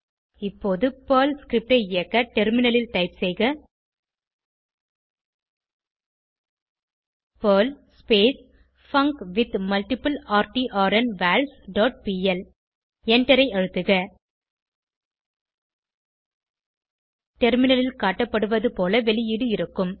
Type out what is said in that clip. இப்போது Perl script ஐ இயக்க டெர்மினலில் டைப் செய்க பெர்ல் பங்க்வித்மல்டிப்ளர்ட்ன்வால்ஸ் டாட் பிஎல் எண்டரை அழுத்துக டெர்மினலில் காட்டப்படுவது போல வெளியீடு இருக்கும்